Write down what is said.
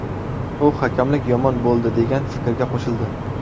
U hakamlik yomon bo‘ldi degan fikrga qo‘shildi.